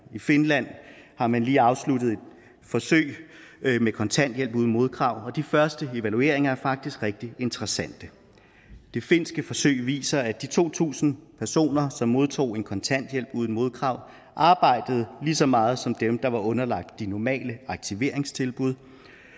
i finland har man lige afsluttet et forsøg med kontanthjælp uden modkrav og de første evalueringer er faktisk rigtig interessante det finske forsøg viser at de to tusind personer som modtog en kontanthjælp uden modkrav arbejdede lige så meget som dem der var underlagt de normale aktiveringstilbud